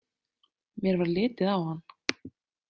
Mér varð litið á hann.